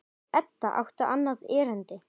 Því Edda átti annað erindi.